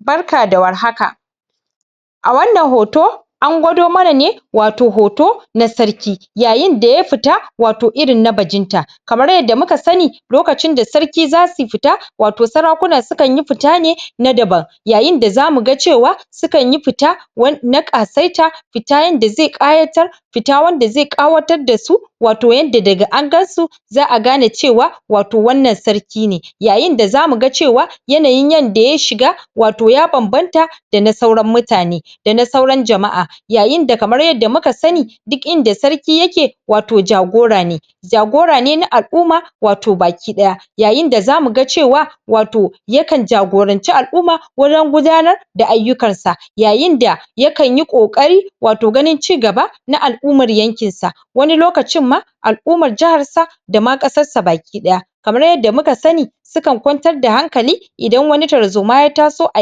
Barka da war haka, a wannan hoto an gwado mana ne wato hoto na sarki yayinda ya fita wato irin na bajin ta kamar yadda muka sani lokacin da sarki zasu fita wato sarakuna sukanyi fita ne yayinda za muga cewa sukanyi pita em na ƙasaita fita yanda ze ƙayatar fita wanda ze ƙawatar da su wato yanda daga an gan su za'a gane cewa wato wannan sarki ne. Yayinda za muga cewa yanayin yanda ya shiga wato ya banbanta da na sauran mutane da na sauran jama'a yayinda kamar yadda muka sani duk inda sarki yake wato jagora ne jagora ne na al'uma wato baki. Yayinda za muga cewa wato jakan jagoranci al'uma wajan gudanar da ayyukan sa. Yayinda yakanyi ƙoƙari wato ganin ci gaba na al'umar yankin sa wani lokacin ma al'umar jahar sa dama ƙasar sa baki ɗaya. Kamar yadda muka sani sukan kwantar da hankali idan wani tarzoma ya taso a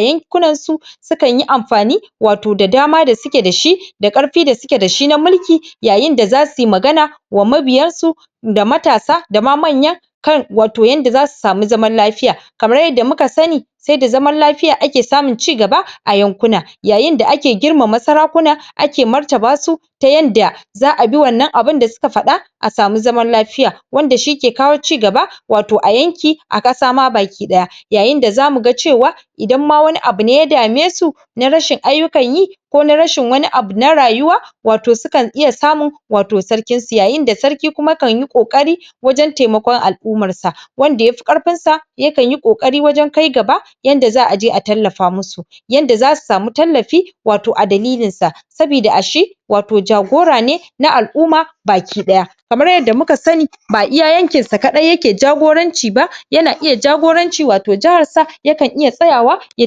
yankunan su sukanyi amfani wato da dama da suke da shi da arfi da suke da shi na mulki yayinda za suyi magana wa mabiyan su da matasa da ma manya kan watoyanda zasu samu zaman lafiya. Kamar yadda muka sani se da zaman lafiya ake samun cigaba a yankuna yayinda ake girmma sarakuna ake martaba su ta yanda za'a bi wannan da suka faɗa a samu zaman lafiya. Wanda shike kawo cigaba wato a yanki a ƙasa ma baki ɗaya, yayinda za muga cewa idan ma wani abune ya dame su na rashin ayyukan yi ko na rashin wani abu na rayuwa wato sukan iya samun wato sarkinsu yayinda sarki kuma kanyi ƙoƙari wajan taimakon al'umarsa. Wanda yafi karfin sa yakan yi ƙoƙari wajan kai gaba yanda za'aje a tallafa musu yanda zasu samu tallafi wato a dalilinsa sabida a shi wato jagora ne na al'uma baki ɗaya. Kamar yadda muka sani ba iya yankin sa kaɗai yake jagoranci ba yana iya jagoranci wato jaharsa, yakan iya tsayawa ya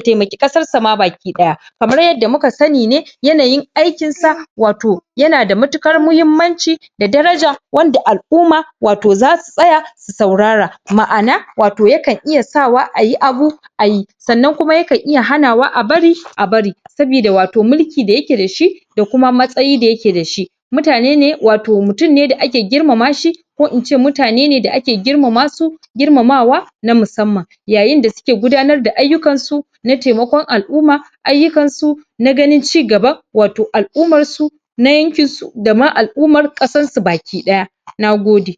taimaki ƙasar sa ma baki ɗaya. Kamar yadda muka sani ne yanayin aikin sa wato yana da matuƙar muhimmanci da daraja wanda al'uma wato zasu tsaya su saurara ma'ana wato yakan iya sawa ayi abu ayi sannan kuma yakan iya hanawa a bari a bari sabida wato milki da yake da shi da kuma matsayi a yake da shi mutane ne wato mutum ne da ake girmama shi ko ince mutane ne da ake girmamasu girmamawa na musamman. Yayinda suke gudanar da ayyukan su na taimakon al'uma ayyukansu, na ganin ci gaban wato al'umarsu na yankinsu da ma al'umar ƙasansu baki ɗaya, nagoge.